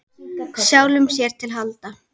Sjálfum sér til handa.